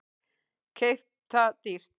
Keypt það dýrt.